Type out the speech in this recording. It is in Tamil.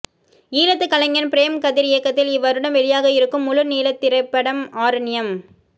ஈழத்து கலைஞன் பிரேம் கதிர் இயக்கத்தில் இவ்வருடம் வெளியாக இருக்கும் முழு நீளத்திரைப்படம் ஆரண்யம்